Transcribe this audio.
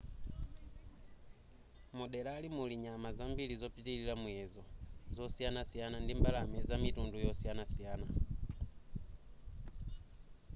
muderali muli nyama zambiri zopitilira muyezo zosiyanasiyana ndi mbalame zamitundu yosiyanasiyana